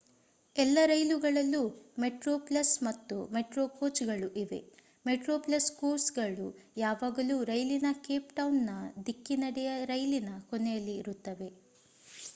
ಎಲ್ಲ ರೈಲುಗಳಲ್ಲೂ ಮೆಟ್ರೊಪ್ಲಸ್ ಮತ್ತು ಮೆಟ್ರೋ ಕೋಚ್‌ಗಳು ಇವೆ; ಮೆಟ್ರೊಪ್ಲಸ್ ಕೋಚ್‍‌ಗಳು ಯಾವಾಗಲೂ ರೈಲಿನ ಕೇಪ್‌ಟೌನ್‍‌‍‌ನ ದಿಕ್ಕಿನೆಡೆಯ ರೈಲಿನ ಕೊನೆಯಲ್ಲಿ ಇರುತ್ತವೆ